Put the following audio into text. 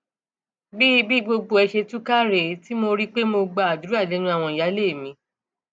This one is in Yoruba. bí bí gbogbo ẹ ṣe túká rèé tí mo rí i pé mo gbàdúrà lẹnu àwọn ìyáálé mi